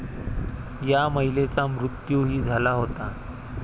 या महिलेचा मृत्यूही झाला होता.